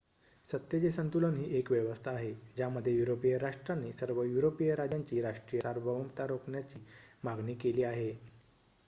सत्तेचे संतुलन ही एक व्यवस्था आहे ज्यामध्ये युरोपिय राष्ट्रांनी सर्व युरोपिय राज्यांची राष्ट्रीय सार्वभौमता राखण्याची मागणी केली आहे